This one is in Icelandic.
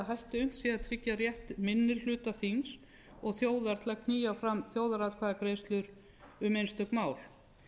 hætti unnt sé að tryggja rétt minni hluti þings og þjóðar til að knýja fram þjóðaratkvæðagreiðslur um einstök mál